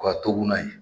O ka to buna